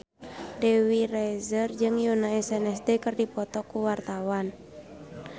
Dewi Rezer jeung Yoona SNSD keur dipoto ku wartawan